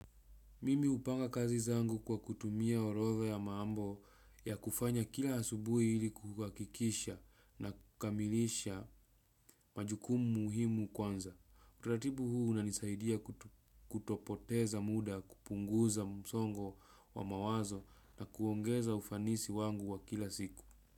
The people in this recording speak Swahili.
Mimi upanga kazi zangu kwa kutumia orotha ya maambo ya kufanya kila asubuhi ili kukakikisha na kamilisha majukumu muhimu kwanza. Uratibu huu unanisaidia kutopoteza muda kupunguza msongo wa mawazo na kuongeza ufanisi wangu wa kila siku.